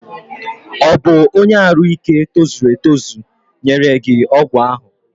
Ọ bụ ọnye arụ ike tozuru etozu nyere gị ọgwụ ahụ?